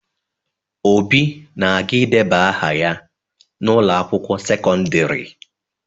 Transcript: Obi na-aga ideba aha ya n'ụlọ akwụkwo sekọndịrị.